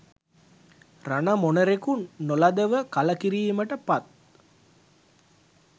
රණ මොණරෙකු නොලදව කලකිරීමට පත්